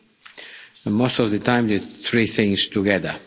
and most of the time the three things together.